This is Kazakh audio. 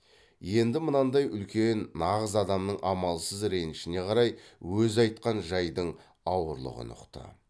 енді мынандай үлкен нағыз адамның амалсыз ренішіне қарай өзі айтқан жайдың ауырлығын ұқты